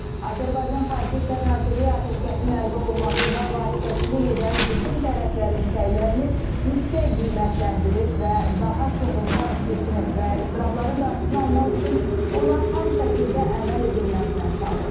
Azərbaycan Xarici İşlər Nazirliyi atəşkəsin əldə olunmasında vasitəçilik edən bütün tərəflərin səylərini yüksək qiymətləndirib və daha çox insan itkisinin və iztirabların qarşısını almaq üçün ona tam şəkildə əməl edilməsinə çağırıb.